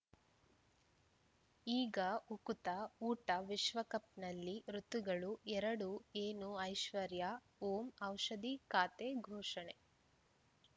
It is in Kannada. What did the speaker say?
ಈಗ ಉಕುತ ಊಟ ವಿಶ್ವಕಪ್‌ನಲ್ಲಿ ಋತುಗಳು ಎರಡು ಏನು ಐಶ್ವರ್ಯಾ ಓಂ ಔಷಧಿ ಖಾತೆ ಘೋಷಣೆ